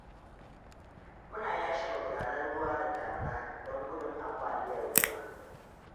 Muna yashe magudanan ruwa da damuna don gudun ambaliyar ruwa.